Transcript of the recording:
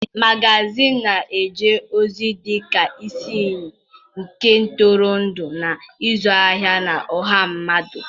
Magazịịnị na-eje ozi dị ka isi iyi nke ntụrụndụ na ịzụ ahịa na ọha mmadụ.